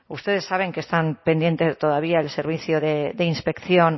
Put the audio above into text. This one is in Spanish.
ustedes saben que están pendiente todavía el servicio de inspección